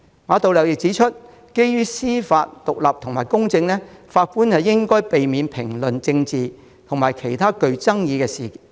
馬道立指出，為了司法獨立及公正，法官應避免評論政治及其他具爭議的事宜。